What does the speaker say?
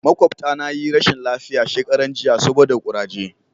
makwabata na yi rashin lafiya shekaran jiya saboda kuraje